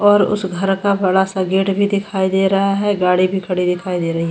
और उस घर का बड़ा सा गेट भी दिखाई दे रहा है गाड़ी भी खड़ी दिखाई दे रही है ।